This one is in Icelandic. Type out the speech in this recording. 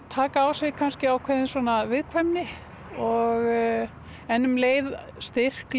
taka á sig ákveðna viðkvæmni en um leið styrk